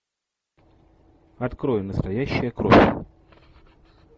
открой настоящая кровь